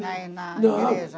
Lá é na